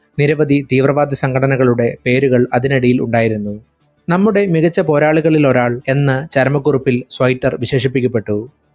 നിരവധി തീവ്രവാദ സംഘടനകളുടെ പേരുകൾ അതിനടിയിൽ ഉണ്ടായിരുന്നു നമ്മുടെ മികച്ച പോരാളികളിൽ ഒരാൾ എന്ന് ചരമക്കുറിപ്പിൽ സ്വൈറ്റർ വിശേഷിക്കപ്പെട്ടു.